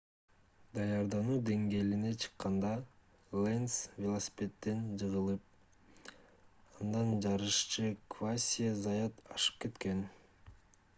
даярдануу деңгээлине чыкканда ленз велосипедден жыгылып андан жарышчы квасье заят ашып кеткен